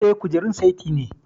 Eh, kujerun saiti ne